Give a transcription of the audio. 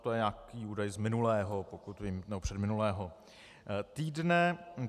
To je nějaký údaj z minulého, pokud vím, nebo předminulého týdne.